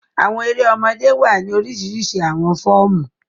Àwọn èrè ọmọdé wa ni orisirisi awọn fọọmu.